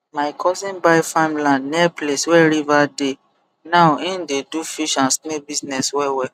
my cousin buy farmland near place where river dey now im dey do fish and snail business wellwell